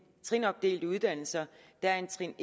trinopdelte uddannelser er en trin